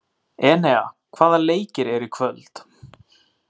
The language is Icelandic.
Enea, hvaða leikir eru í kvöld?